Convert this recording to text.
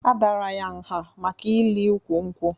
A dàrà ya nha maka ili ụkwụ nkwụ